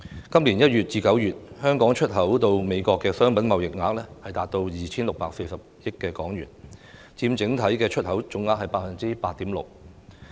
今年月至月，香港出口到美國的商品貿易額達到 2,640 億港元，佔整體出口總額 8.6%。